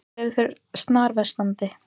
Veður fer snarversnandi